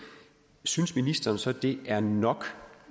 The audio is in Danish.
synes ministeren så at det er nok